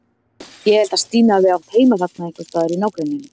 Ég held að Stína hafi átt heima þarna einhvers staðar í nágrenninu.